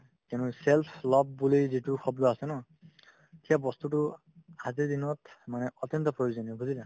কিন্তু self love বুলি যিটো শব্দ আছে ন সেই বস্তুতো মানে অত্যন্ত প্ৰয়োজনীয় বুজিলা